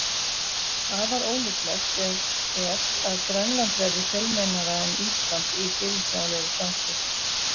Afar ólíklegt er að Grænland verði fjölmennara en Ísland í fyrirsjáanlegri framtíð.